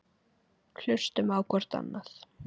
Hlustum á hvort annað.